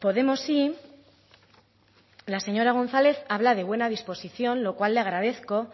podemosi la señora gonzález habla de buena disposición lo cual le agradezco